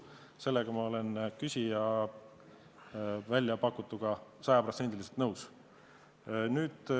Selles olen ma küsija väljapakutuga sada protsenti nõus.